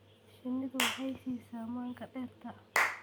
Shinnidu waxay siisaa manka dhirta.